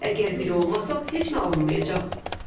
Əgər bir olmasaq, heç nə alınmayacaq.